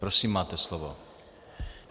Prosím, máte slovo.